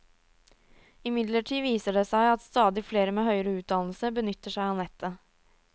Imidlertid viser det seg at stadig flere med høyere utdannelse benytter seg av nettet.